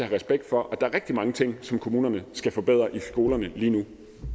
respekt for at der er rigtig mange ting som kommunerne skal forbedre i skolerne lige nu